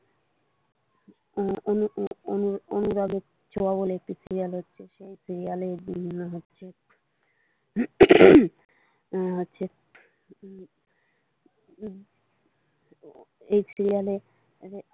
অনুরাগের ছোঁয়া বলে একটি সিরিয়াল হচ্ছে সেই সিরিয়ালে এই জিনিস গুলো হচ্ছে উম হচ্ছে এই সিরিয়ালে।